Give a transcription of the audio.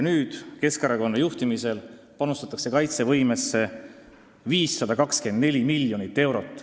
Nüüd, Keskerakonna juhtimisel, panustatakse kaitsevõimesse 524 miljonit eurot.